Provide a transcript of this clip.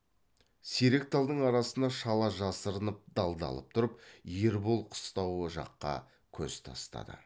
сирек талдың арасына шала жасырынып далдалып тұрып ербол қыстауы жаққа көз тастады